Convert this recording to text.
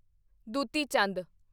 Dutee Chand